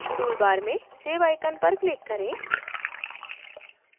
toolbar में save icon पर click करें